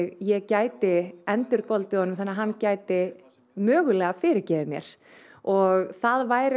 ég gæti endurgoldið honum þannig að hann gæti mögulega fyrirgefið mér og það væri